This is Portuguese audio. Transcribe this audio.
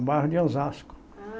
No bairro de Osasco. Ah